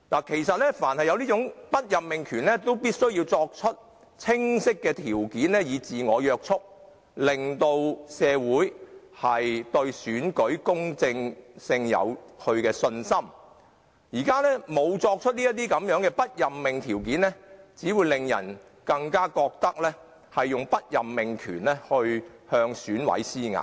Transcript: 舉凡有此種不任命權，掌權者均須訂明清晰的準則自我約束，令社會人士對選舉公正有信心，現時沒有訂出不任命的準則，只會令人更覺得中央以不任命權來向選委施壓。